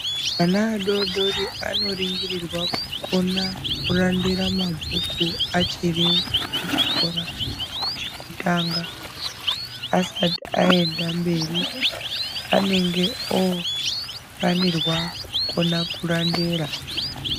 Vana vadoridori anoringirirwa, kukona kurandera mabhuku achiri kuchikora chekutanga ,asati aenda mberi anenge ofanirwa kukona kurandera.